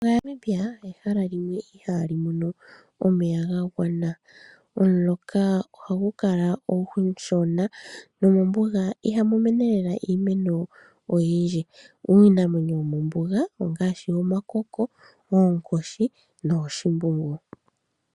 Namibia ehala limwe ihaa mono omeya ga gwana. Omuloka oha gu kala omushona, nomombuga iha mu mene owala iimeno oyindji. Uunamwenyo womombuga ongaashi omakoko, onkoshi nooshimbungu.